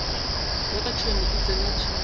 bjaka tšhwene e tsena tšhemong